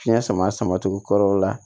Fiɲɛ sama sama tugu kɔrɔ la